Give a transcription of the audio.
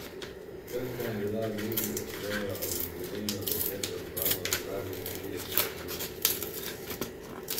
Krka je bila v igri za svojo jubilejno deseto zmago slabih trideset minut igre.